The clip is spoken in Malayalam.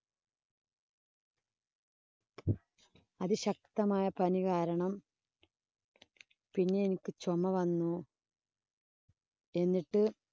അതിശക്തമായ പനി കാരണം പിന്നെ എനിക്ക് ചൊമ വന്നു. എന്നിട്ട്